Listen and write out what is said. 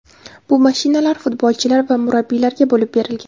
Bu mashinalar futbolchilar va murabbiylarga bo‘lib berilgan.